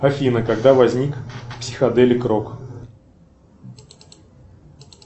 афина когда возник психоделик рок